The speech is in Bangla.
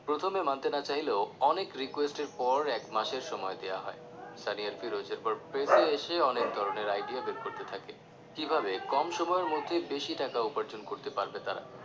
প্রথমে মানতে না চাইলে ও অনেক request এর পর এক মাসের সময় দেওয়া হয় সানি আর ফিরোজ এরপর press এসে অনেক ধরনের idea বের করতে থাকে কিভাবে কম সময়ে বেশি টাকা income করতে পারবে তারা